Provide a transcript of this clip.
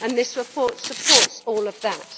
This report supports all of that.